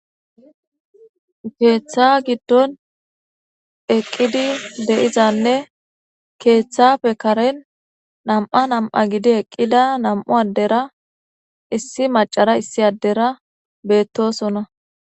Keththa giddon eqqidi de'izanne keththappe karen nam'a nam'a gidi eqqida nam'u addera issi mac'era issi addera bettosona.